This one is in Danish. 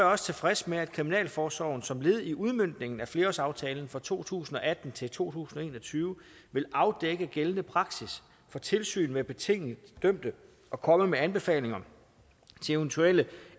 også tilfreds med at kriminalforsorgen som led i udmøntningen af flerårsaftalen for perioden to tusind og atten til to tusind og en og tyve vil afdække gældende praksis for tilsyn med betinget dømte og komme med anbefalinger til eventuelle